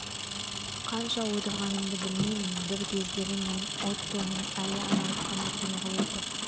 қанша отырғанымды білмеймін бір кездері мен оттоның әй анау қанат неғып отыр